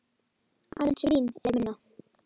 Aðeins Vín er minna.